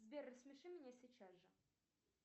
сбер рассмеши меня сейчас же